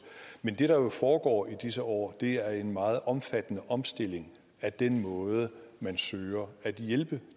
men det der jo foregår i disse år er en meget omfattende omstilling af den måde man søger at hjælpe